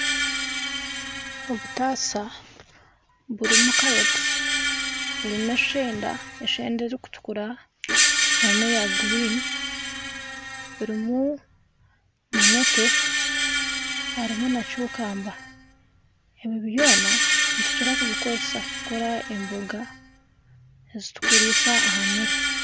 Obutaasa burimu zakaroti n'eshenda erikutukura n'eya gurini harimu munete harimu na cukamba ebi byona nitukira kubikozesa okukora emboga ezi turikuriisa aha mere.